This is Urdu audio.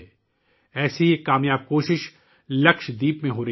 ایسی ہی ایک کامیاب کوشش لکشدیپ میں ہو رہی ہے